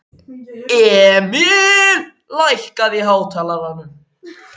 Emil, lækkaðu í hátalaranum.